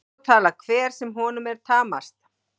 Svo talar hver sem honum er tamast.